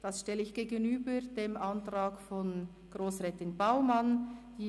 Dies stelle ich dem Antrag von Grossrätin Baumann gegenüber: